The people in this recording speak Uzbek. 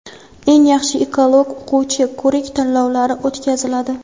"Eng yaxshi ekolog o‘quvchi" ko‘rik tanlovlari o‘tkaziladi.